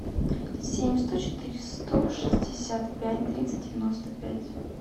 семь сто четыре сто шестьдесят пять тридцать девяносто пять